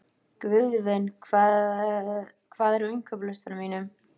Guðvin, hvað er á innkaupalistanum mínum?